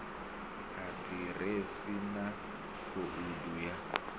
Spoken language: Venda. a ḓiresi na khoudu ya